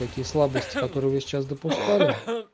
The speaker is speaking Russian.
какие слабости которые вы сейчас допускали